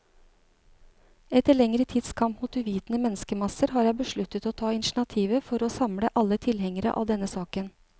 Etter lengre tids kamp mot uvitende menneskemasser, har jeg besluttet å ta initiativet for å samle alle tilhengere av denne saken.